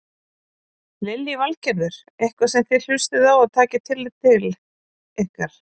Lillý Valgerður: Eitthvað sem þið hlustið á og takið tillit ykkar?